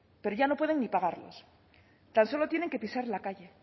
pero ya no pueden ni pagarlos tan solo tienen que pisar la calle